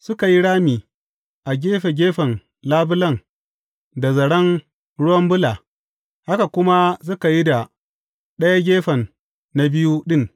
Suka yi rami a gefe gefen labulen da zaren ruwan bula, haka kuma suka yi da ɗayan gefen na biyu ɗin.